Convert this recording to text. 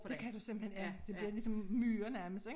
Det kan du simpelthen ja det bliver ligesom myrer nærmest ik